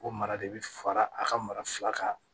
O mara de bɛ fara a ka mara fila kan